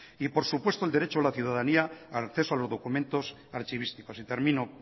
y por supuesto el derecho de la ciudadanía al acceso a los documentos archivísticos y termino